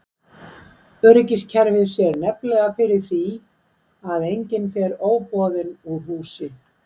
Öryggiskerfið sér nefnilega fyrir því að enginn fer óboðinn úr húsi.